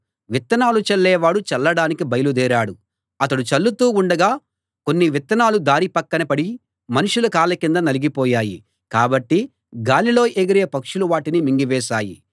విత్తనాలు చల్లేవాడు చల్లడానికి బయలుదేరాడు అతడు చల్లుతూ ఉండగా కొన్ని విత్తనాలు దారి పక్కన పడి మనుషుల కాళ్ళ కింద నలిగిపోయాయి కాబట్టి గాలిలో ఎగిరే పక్షులు వాటిని మింగివేశాయి